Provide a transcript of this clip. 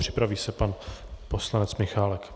Připraví se pan poslanec Michálek.